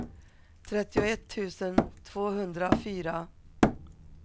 trettioett tusen tvåhundrafyra